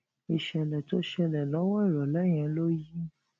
ìṣèlè tó ṣẹlè lówó ìròlé yẹn ló yí